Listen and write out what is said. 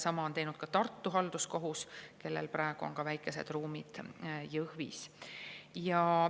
Sama on teinud ka Tartu Halduskohus, kellel on väikesed ruumid Jõhvis.